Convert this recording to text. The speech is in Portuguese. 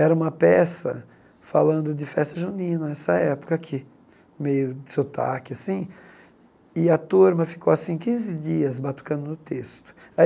Era uma peça falando de festa junina, essa época aqui, meio sotaque assim, e a turma ficou quinze dias batucando no texto aí.